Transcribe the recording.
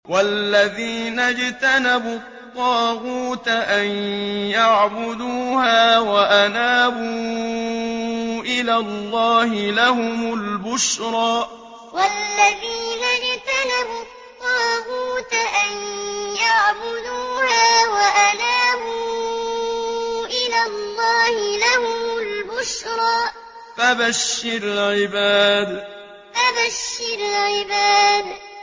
وَالَّذِينَ اجْتَنَبُوا الطَّاغُوتَ أَن يَعْبُدُوهَا وَأَنَابُوا إِلَى اللَّهِ لَهُمُ الْبُشْرَىٰ ۚ فَبَشِّرْ عِبَادِ وَالَّذِينَ اجْتَنَبُوا الطَّاغُوتَ أَن يَعْبُدُوهَا وَأَنَابُوا إِلَى اللَّهِ لَهُمُ الْبُشْرَىٰ ۚ فَبَشِّرْ عِبَادِ